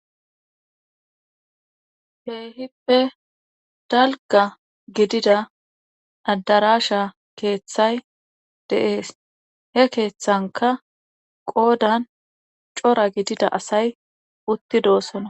heehippe dalgga gidida addarasha keeththay de7ees he keeththanka qoodan cora gidida asay uttidosona.